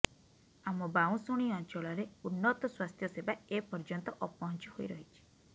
ଆମ ବାଉଁଶୁଣୀ ଅଞ୍ଚଳରେ ଉନ୍ନତ ସ୍ୱାସ୍ଥ୍ୟସେବା ଏ ପର୍ଯ୍ୟନ୍ତ ଅପହଞ୍ଚ ହୋଇ ରହିଛି